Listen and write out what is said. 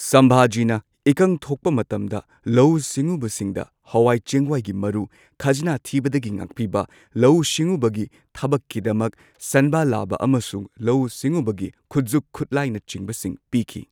ꯁꯝꯚꯥꯖꯤꯅ ꯏꯀꯪ ꯊꯣꯛꯄ ꯃꯇꯝꯗ ꯂꯧꯎ ꯁꯤꯡꯎꯕꯁꯤꯡꯗ ꯍꯋꯥꯏ ꯆꯦꯡꯋꯥꯏꯒꯤ ꯃꯔꯨ, ꯈꯥꯖꯅ ꯊꯤꯕꯗꯒꯤ ꯉꯥꯛꯄꯤꯕ, ꯂꯧꯎ ꯁꯤꯡꯎꯕꯒꯤ ꯊꯕꯛꯀꯤꯗꯃꯛ ꯁꯟꯕꯥ ꯂꯥꯕ ꯑꯃꯁꯨꯡ ꯂꯧꯎ ꯁꯤꯡꯎꯕꯒꯤ ꯈꯨꯖꯨꯛꯈꯨꯠꯂꯥꯢꯅ ꯆꯤꯡꯕꯁꯤꯡ ꯄꯤꯈꯤ꯫